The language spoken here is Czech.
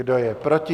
Kdo je proti?